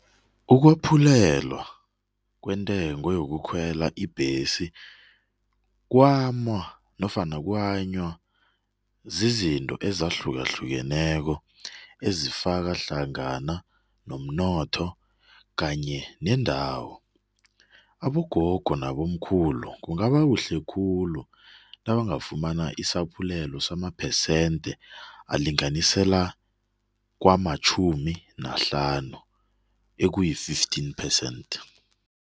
Ukwephulelwa kwentengo yokukhwela ibhesi nofana kuhanywa zizinto ezahlukahlukeneko ezifaka hlangana umnotho kanye nendawo. Abogogo nabomkhulu kungaba kuhle khulu nabangafumana isaphulelo samaphesente alinganisela kwamatjhumi nahlanu okuyi-fifteen percent.